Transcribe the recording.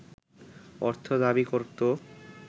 অর্থ দাবি করত